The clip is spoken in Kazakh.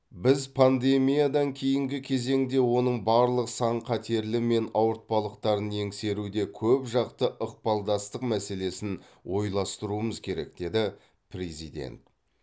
біз пандемиядан кейінгі кезеңде оның барлық сан қатерлері мен ауыртпалықтарын еңсеруде көпжақты ықпалдастық мәселесін ойластыруымыз керек деді президент